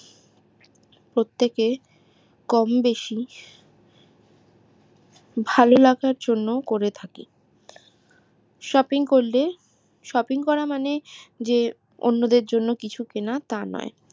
প্রত্যেকে কম বেশি ভালো লাগার জন্য করে থাকি shopping করলে shopping করার মানে যে অন্যদের জন্য কিছু কেনা তা নয়